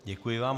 Děkuji vám.